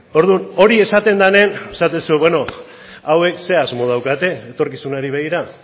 orduan hori esaten denean esaten duzu beno hauek zein asmo daukate etorkizunera begira